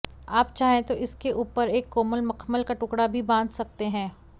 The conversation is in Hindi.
आप चाहें तो इसके ऊपर एक कोमल मखमल का टुकड़ा भी बांध सकते हैं